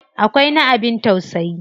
Akwai na abin tausayi.